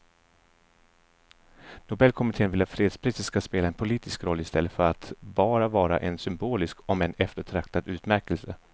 Nobelkommittén vill att fredspriset ska spela en politisk roll i stället för att bara vara en symbolisk om än eftertraktad utmärkelse.